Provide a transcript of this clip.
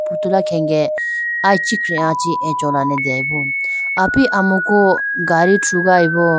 Putula khenge ayi ichikhiah chi acholane deyibo api amuku gadi thrugayibo.